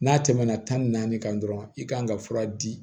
N'a tɛmɛna tan ni naani kan dɔrɔn i kan ka fura di